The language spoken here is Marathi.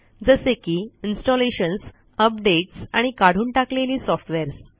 जसे की इन्स्टॉलेशन्स अपडेट्स आणि काढून टाकलेली सॉफ्टवेअर्स